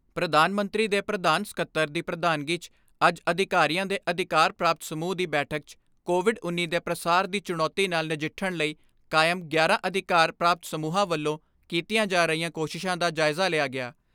ਪ੍ਰਧਾਨ ਮੰਤਰੀ ਦੇ ਪ੍ਰਧਾਨ ਸਕੱਤਰ ਦੀ ਪ੍ਰਧਾਨਗੀ 'ਚ ਅੱਜ ਅਧਿਕਾਰੀਆਂ ਦੇ ਅਧਿਕਾਰ ਪ੍ਰਾਪਤ ਸਮੂਹ ਦੀ ਬੈਠਕ 'ਚ ਕੋਵਿਡ ਉੱਨੀ ਦੇ ਪ੍ਰਸਾਰ ਦੀ ਚੁਣੌਤੀ ਨਾਲ ਨਜਿੱਠਣ ਲਈ ਕਾਇਮ ਗਿਆਰਾਂ ਅਧਿਕਾਰ ਪ੍ਰਾਪਤ ਸਮੂਹਾਂ ਵੱਲੋਂ ਕੀਤੀਆਂ ਜਾ ਰਹੀਆਂ ਕੋਸ਼ਿਸ਼ਾਂ ਦਾ ਜਾਇਜ਼ਾ ਲਿਆ ਗਿਆ।